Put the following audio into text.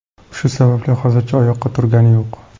Shu sababli hozircha oyoqqa turgani yo‘q.